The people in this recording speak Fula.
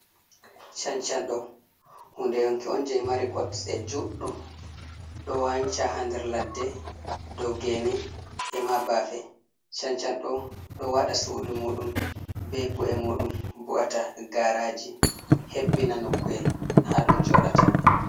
Chanchan do hunde yonki on jei mari kotse juɗɗum do wanca ha nder ladde dow gene e ma bafe chanchan do do wada sudu mudum be bu’e mudum bu’ata garaji hebbina no kuwel ha dum jodata.